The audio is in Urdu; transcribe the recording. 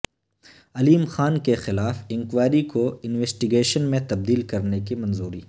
علیم خان کیخلاف انکوائری کوانویسٹی گیشن میں تبدیل کرنےکی منظوری